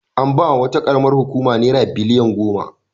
An ba wa wata ƙaramar hukuma naira biliyan goma.